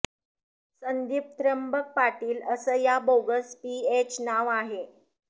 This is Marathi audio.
संदीप त्र्यंबक पाटील असं या बोगस पीएचं नाव आहे